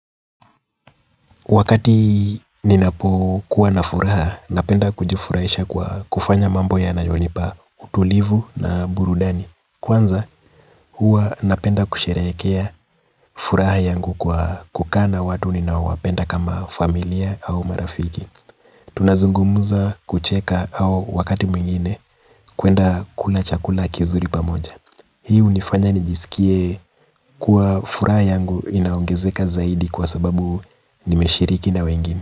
Wakati ninapo kuwa na furaha, napenda kujufurahisha kwa kufanya mambo yanayonipa utulivu na burudani. Kwanza, huwa napenda kusherehekea furaha yangu kwa kukaa na watu ninaowapenda kama familia au marafiki. Tunazungumuza, kucheka au wakati mwingine kuenda kula chakula kizuri pamoja. Hii hunifanya nijisikie kuwa furaha yangu inaongezeka zaidi kwa sababu nimeshiriki na wengine.